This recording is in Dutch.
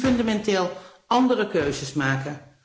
We moeten nu fundamenteel andere keuzes maken.